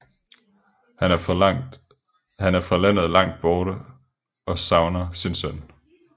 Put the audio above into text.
Han er fra landet Langt Borte og savner sin søn